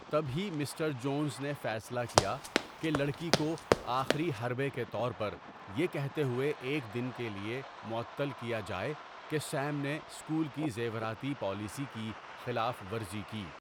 تب ہی mister Jones نے فیصلہ کیا کہ لڑکی کو 'آخری حربے' کے طور پر یہ کہتے ہوئے ایک دن کے لیےمعطل کیا جائے کہ سیم نے اسکول کی زیوراتی پالیسی کی خلاف ورزی کی۔